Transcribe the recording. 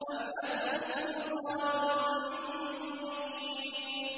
أَمْ لَكُمْ سُلْطَانٌ مُّبِينٌ